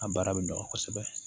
A baara bɛ nɔgɔ kosɛbɛ